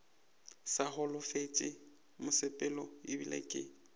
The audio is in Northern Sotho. sa holofetše mosepelo ebile ke